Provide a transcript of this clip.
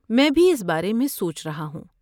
میں بھی اس بارے میں سوچ رہا ہوں۔